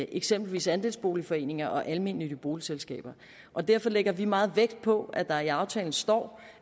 eksempelvis andelsboligforeninger og almennyttige boligselskaber og derfor lægger vi meget vægt på at der i aftalen står